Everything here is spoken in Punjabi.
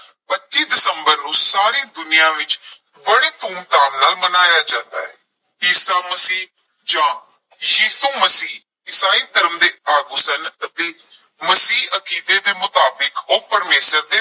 ਪੱਚੀ ਦਸੰਬਰ ਨੂੰ ਸਾਰੀ ਦੁਨੀਆਂ ਵਿਚ ਬੜੇ ਧੂਮ ਧਾਮ ਨਾਲ ਮਨਾਇਆ ਜਾਂਦਾ ਹੈ, ਈਸਾ ਮਸੀਹ ਜਾਂ ਯਿਸੂ ਮਸੀਹ ਈਸਾਈ ਧਰਮ ਦੇ ਆਗੂ ਸਨ ਅਤੇ ਮਸੀਹੀ ਅਕੀਦੇ ਦੇ ਮੁਤਾਬਿਕ ਓਹ ਪਰਮੇਸ਼ਰ ਦੇ